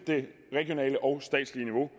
det regionale og statslige niveau